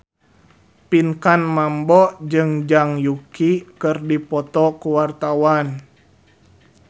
Pinkan Mambo jeung Zhang Yuqi keur dipoto ku wartawan